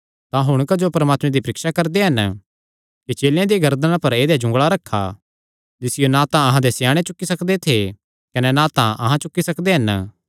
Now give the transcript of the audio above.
तां हुण तुहां क्जो परमात्मे दी परीक्षा करदे हन कि चेलेयां दिया गर्दना पर ऐदेया जुंगल़ा रखा जिसियो ना तां अहां दे स्याणे चुक्की सकदे थे कने ना तां अहां चुक्की सकदे हन